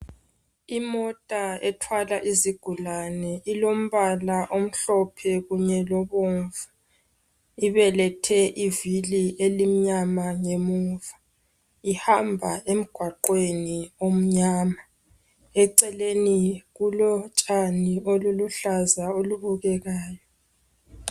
Imota ethwala izigulane ilombala omhlophe kunye lobomvu. Ibelethe ivili elimnyama ngemuva. Ihamba emgwaqweni omnyama, eceleni kulotshani oluluhlaza olubukekayo